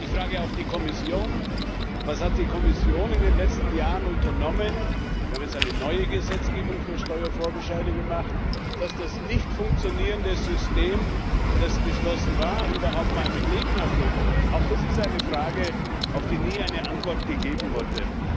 Ich frage auch die Kommission Was hat die Kommission in den letzten Jahren unternommen wir haben jetzt eine neue Gesetzgebung für Steuervorbescheide gemacht dass das nicht funktionierende System, das beschlossen war, überhaupt mal mit Leben erfüllt wird? Auch das ist eine Frage, auf die nie eine Antwort gegeben wurde.